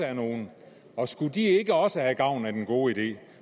er nogle og skulle de ikke også have gavn af den gode idé